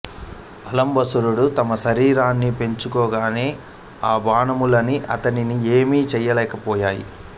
అలంబసుడు తన శరీరాన్ని పెంచగానే ఆ బాణములన్నీ అతడిని ఏమి చేయలేక పోయాయి